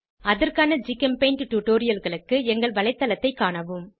அதற்கான ஜிகெம்பெய்ண்ட் டுடோரியல்களுக்கு எங்கள் வலைத்தளத்தைக் காணவும்